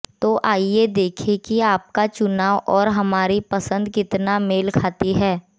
तो आइए देखें कि आपका चुनाव और हमारी पसंद कितना मेल खाती है